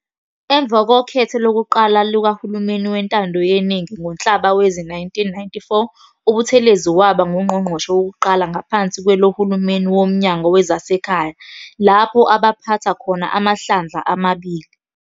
Emva kokhetho lokuqala lukaHulumeni weNtando yeNingi ngoNhlaba wezi-1994 uButhelezi waba nguNqgongqoshe wokuqala ngaphansi kwalohulumeni woMnyango wezaseKhaya, lapho abapatha khona amahlandla amabili.